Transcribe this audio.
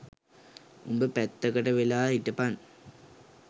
උඹ පැත්තකට වෙලා හිටපන්